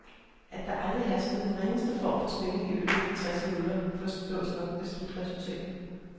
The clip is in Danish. At der aldrig herskede den ringeste form for spænding i løbet af de tres minutter, forstås nok af slutresultatet.